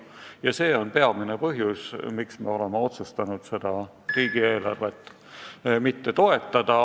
Ja see on peamine põhjus, miks me oleme otsustanud seda riigieelarvet mitte toetada.